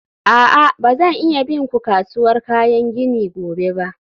a'a, ba zan iya bin ku kasuwar kayan gini gobe ba.